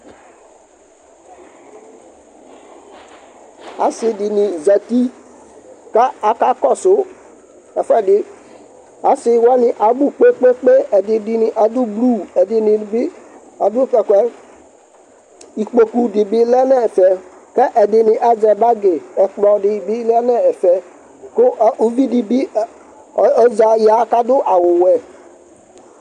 Asi dini zati ka akakɔsʋ ɛfʋɛdi Asiwani abʋ kpekpekpe, ɛdini adʋ blu, ɛdini bi adʋ t'ɛkʋ yɛ, ikpoku di bi lɛ n'ɛfɛ kɛ ɛdini azɛ bagi, ɛkplɔdi bi ya n'ɛfɛ, kʋ uvidi bi ɔza ya k'adʋ awʋ wɛ